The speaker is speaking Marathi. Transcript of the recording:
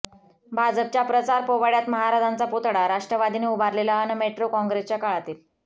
भाजपच्या प्रचार पोवाड्यात महाराजांचा पुतळा राष्ट्रवादीने उभारलेला अन मेट्रो काँग्रेसच्या काळातील